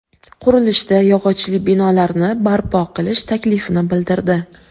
Qurilishda yog‘ochli binolarni barpo qilish taklifini bildirdi.